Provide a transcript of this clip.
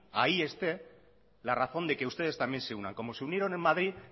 ahí esté la razón de que ustedes también se unan como se unieron en madrid